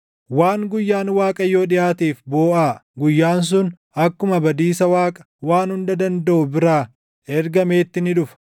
Waan guyyaan Waaqayyoo dhiʼaateef booʼaa; guyyaan sun akkuma badiisa Waaqa Waan Hunda Dandaʼu biraa ergameetti ni dhufa.